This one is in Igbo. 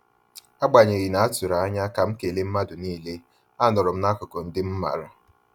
Agbanyeghi na-atụrụ anya ka m kele mmadụ niile,a nọrọm n'akụkụ ndị m maara